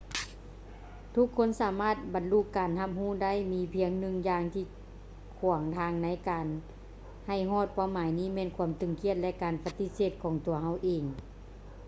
ທຸກຄົນສາມາດບັນລຸການຮັບຮູ້ໄດ້ ມີພຽງໜຶ່ງຢ່າງທີ່ຂວາງທາງໃນການໃຫ້ຮອດເປົ້າໝາຍນີ້ແມ່ນຄວາມຕຶງຄຽດ ແລະ ການປະຕິເສດຂອງຕົວເຮົາເອງ